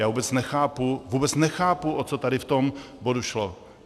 Já vůbec nechápu, vůbec nechápu, o co tady v tom bodu šlo.